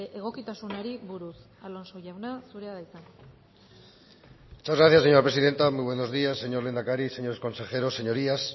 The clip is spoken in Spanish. egokitasunari buruz alonso jauna zurea da hitza muchas gracias señora presidenta muy buenos días señor lehendakari señores consejeros señorías